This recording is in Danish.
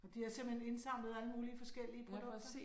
Nåh de har simpelthen indsamlet alle mulige forskellige produkter?